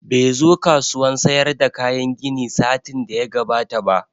Bai zo kasuwan sayar da kayan gini satin da ya gabata ba